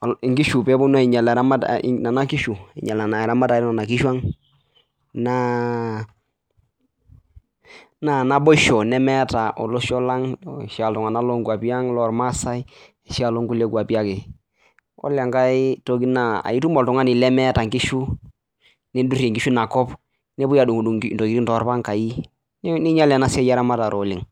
ore enkae toki naa naboisho nemetaa iltung'ana loo nkwapii ang ore enkae toki naa etum oltung'ani lemeeta enkishu nidurie enakop nepuoi adungudung enkishu toroangai ninyial ena siai eramatare oleng